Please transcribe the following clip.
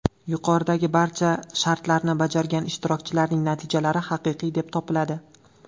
Yuqoridagi barcha shartlarni bajargan ishtirokchilarning natijalari haqiqiy deb topiladi.